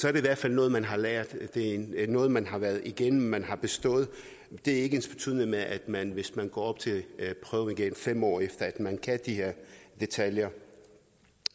er i hvert fald noget man har lært det er noget man har været igennem man har bestået det er ikke ensbetydende med at man hvis man går op til prøven igen fem år efter at man kan de her detaljer